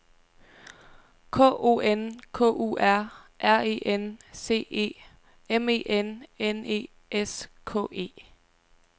K O N K U R R E N C E M E N N E S K E